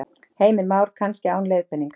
Heimir Már: Kannski án leiðbeiningar?